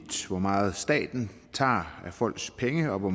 hvor meget staten tager af folks penge og hvor